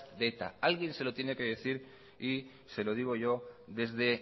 de eta alguien se lo tiene que decir y se lo digo yo desde